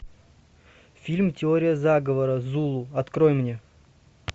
фильм теория заговора зулу открой мне